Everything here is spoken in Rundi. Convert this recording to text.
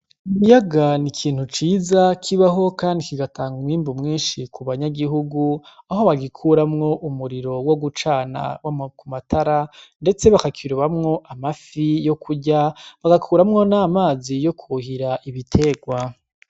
Ikiyaga n' ikintu ciza kibaho kandi kigatanga umwimbu mwinshi kubanyagihugu aho bagikuramwo umuriro wo gucana ku matara ndetse bakakirobamwo amafi yo kurya bagakuramwo n' amazi yo kwuhira ibitegwa.